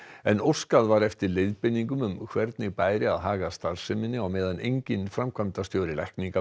en óskað var eftir leiðbeiningum um hvernig bæri að haga starfseminni á meðan enginn framkvæmdastjóri lækninga